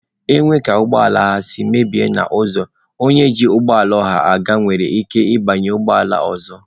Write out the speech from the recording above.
E nwee ka ụgbọ ala si mebie n'ụzọ, onye ji ụgbọ ọha aga nwere ike rituo banye ụgbọala ọzọ.